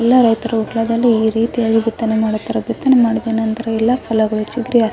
ಎಲ್ಲ ರೈತರು ಹೊಲದಲ್ಲಿ ಈ ರೀತಿಯಾಗಿ ಬಿತ್ತನೆ ಮಾಡುತ್ತಿದ್ದರೆ ಬಿತ್ತನೆ ಮಾಡುವುದೆನೆಂದರೆ ಎಲ್ಲಾ ಹೊಲಗಳು --